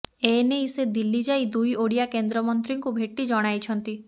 ଏନେଇ ସେ ଦିଲ୍ଲୀ ଯାଇ ଦୁଇ ଓଡ଼ିଆ କେନ୍ଦ୍ରମନ୍ତ୍ରୀଙ୍କୁ ଭେଟି ଜଣାଇଛନ୍ତି